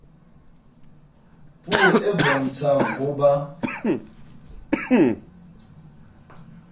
puo e bontshang ho ba